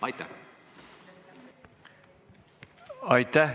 Aitäh!